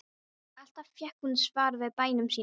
Alltaf fékk hún svar við bænum sínum.